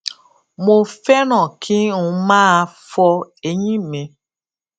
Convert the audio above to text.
mo féràn kí n máa fọ eyín mi